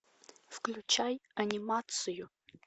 включай анимацию